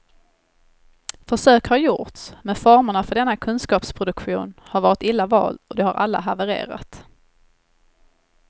Försök har gjorts, men formerna för denna kunskapsproduktion har varit illa vald och de har alla havererat.